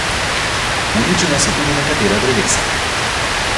Uničena so tudi nekatera drevesa.